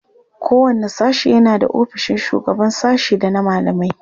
Kowanne sashe yana da ofisoshin shugaban sashe da na malamai.